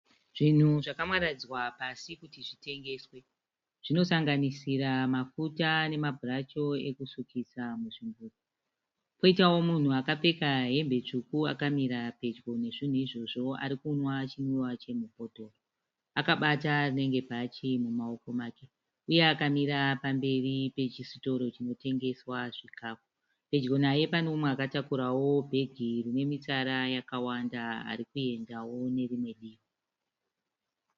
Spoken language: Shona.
Zvinhu zvakamaradzwa pasi kuti zvitengeswe, zvinosanganisira mafuta nemabhurashu ekusukisa muzvimbuzi. Poitavo munhu akapfeka hembe tsvuku akamira pedyo nezvinhu izvozvo arikumwa chimwiwa chemubhodhoro akabata rinenge bhatye mumaoko make uye akamira pamberi pechisitoro chinotengeswa zvihikafu. Pedyo naye pane umwe akatakurawo bheke rine mitsara yakawanda arikuenda nerimwe divi.